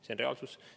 See on reaalsus.